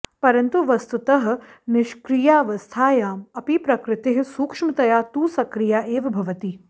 परन्तु वस्तुतः निष्क्रियावस्थायाम् अपि प्रकृतिः सूक्ष्मतया तु सक्रिया एव भवति